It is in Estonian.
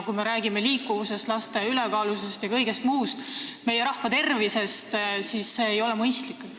Kui me räägime liikuvusest, laste ülekaalulisusest, üldse meie rahva tervisest, siis see ei ole mõistlik.